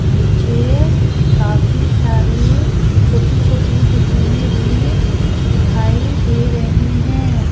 नीचे काफी सारी छोटी छोटी बिल्डिंगे में भी दिखाई दे रही हैं।